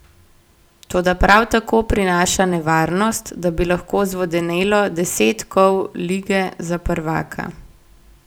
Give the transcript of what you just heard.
Toda prav tako prinaša nevarnost, da bi lahko zvodenelo deset kol lige za prvaka.